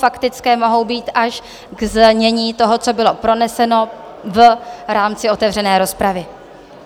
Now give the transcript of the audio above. Faktické mohou být až k znění toho, co bylo proneseno v rámci otevřené rozpravy.